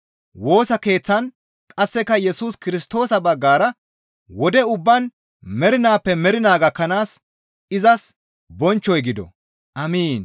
Woosa keeththan qasseka Yesus Kirstoosa baggara wode ubbaan mernaappe mernaa gakkanaas izas bonchchoy gido. Amiin.